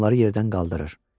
Onları yerdən qaldırır.